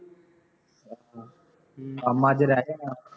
ਅੱਛਾ ਕੰਮ ਅੱਜ ਰਹਿ ਜੋ ਜਾਣਾ